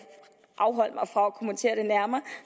afholde mig fra at kommentere det nærmere